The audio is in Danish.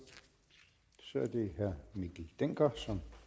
så er det herre mikkel dencker som